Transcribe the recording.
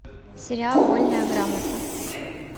сериал вольная грамота